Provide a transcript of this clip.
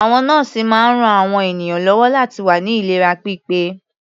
Àwọn nọ́ọ̀sì máa ń ran àwọn ènìyàn lọ́wọ́ láti wà ní ìlera pípé.